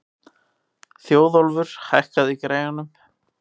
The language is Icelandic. Þjóðólfur, hækkaðu í græjunum.